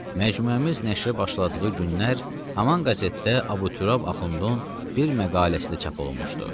Məcmuəmiz nəşrə başladığı günlər haman qəzetdə Abuturab axundun bir məqaləsi də çap olunmuşdu.